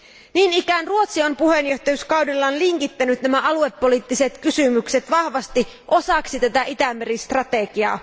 Niin ikään Ruotsi on puheenjohtajakaudellaan linkittänyt nämä aluepoliittiset kysymykset vahvasti osaksi tätä Itämeri strategiaa.